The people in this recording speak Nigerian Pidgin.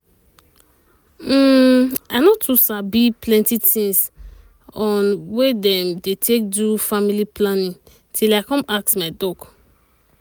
hmm i no too sabi plenty things on way dem um dey take do um family planning till i come ask my doc.